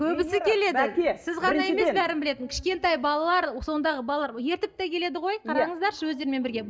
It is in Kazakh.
көбімсі келеді сіз ғана емес бәрін білетін кішкентай балалар сондағы балалар ертіп те келеді ғой қараңыздаршы өздерімен бірге